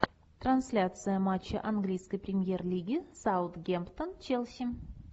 трансляция матча английской премьер лиги саутгемптон челси